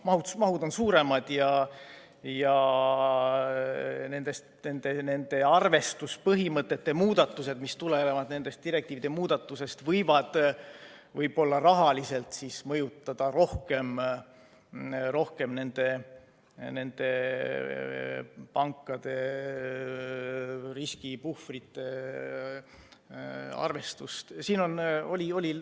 Mahud on suuremad ja arvestuspõhimõtete muudatused, mis tulenevad nendest direktiivide muudatusest, võivad rahaliselt nende pankade riskipuhvrite arvestust võib-olla rohkem mõjutada.